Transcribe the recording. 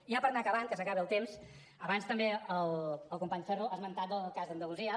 ja per anar acabant que s’acaba el temps abans també el company ferro ha esmentat el cas d’andalusia